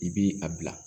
I bi a bila